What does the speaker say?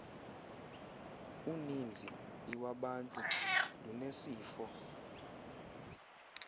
uninzi iwabantu lunesifo